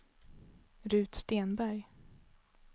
Ruth Stenberg